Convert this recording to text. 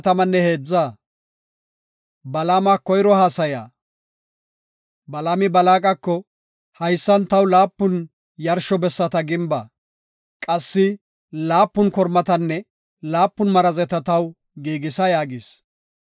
Balaami Balaaqako, “Haysan taw laapun yarsho bessata gimba; qassi laapun kormatanne laapun marazeta taw giigisa” yaagis.